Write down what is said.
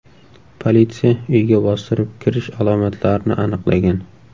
Politsiya uyga bostirib kirish alomatlarini aniqlagan.